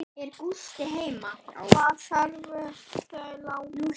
Hvað þurfa þau langa suðu?